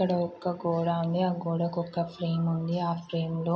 ఇక్కడ ఒక గోడ ఉంది. ఆ గోడకు ఒక ఫ్రేమ్ ఉంది. ఆ ఫ్రేమ్ లో --